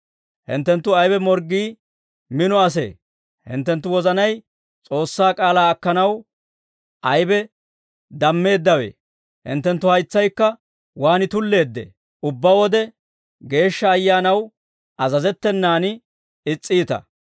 «Hinttenttu aybe morggii mino asee? Hinttenttu wozanay S'oossaa k'aalaa akkanaw aybe dammeeddawee? Hinttenttu haytsaykka waan tulleeddee? Ubbaa wode Geeshsha Ayyaanaw azazettenan is's'iita.